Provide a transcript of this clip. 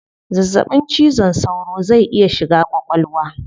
Zazzabin cizon saura zai iya shiga kwakwalwa